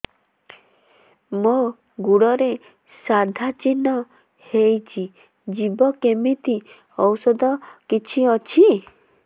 ମୋ ଗୁଡ଼ରେ ସାଧା ଚିହ୍ନ ହେଇଚି ଯିବ କେମିତି ଔଷଧ କିଛି ଅଛି